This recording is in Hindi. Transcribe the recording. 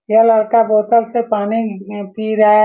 यह लड़का बोतल से पानी पी रहा है।